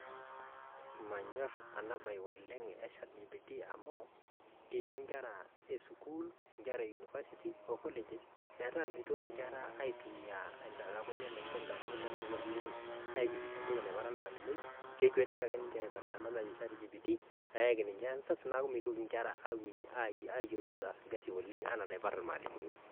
manyorr enaa bae oleng e chat GPT amu kisho nkera esukul nkera e universities oo colleges metaa mitoki nkera aitumia ndamunot enye oleng entoki naiparu olmalimuni ekuetiki ake ninje aiparr enda naji chat GPT neyaki ninje answers neaku mitoki ninje ayiolo ataas ilkasi oleng enaa enaiparu ilmalimuni